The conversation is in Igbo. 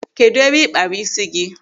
Kedụ ebe ị kpara ịsị gị?